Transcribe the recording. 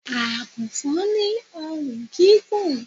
Agùnfọn ni orùn gígùn